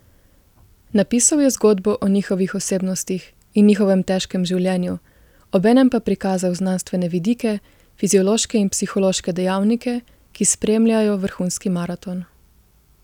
Napisal je zgodbo o njihovih osebnostih in njihovem težkem življenju, obenem pa prikazal znanstvene vidike, fiziološke in psihološke dejavnike, ki spremljajo vrhunski maraton.